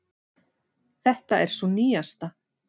Þetta er sú nýjasta.